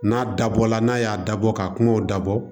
N'a dabɔla n'a y'a dabɔ ka kungow dabɔ